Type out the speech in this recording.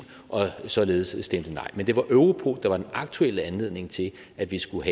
og således stemte nej men det var europol der var den aktuelle anledning til at vi skulle